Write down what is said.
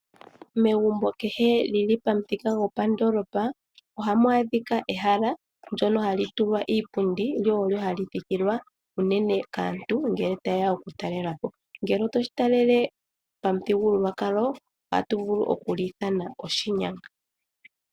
Megumbo kehe lili pamuthika gopandoolopa , ohamu adhika ehala ndyono hali tulwa iipundi , lyo olyo hali thikilwa unene kaantu ngele tayeya okutalelapo. Ngele oto shi talele pamuthigululwakalo, ohatu vulu okuli ithana oshinyanga.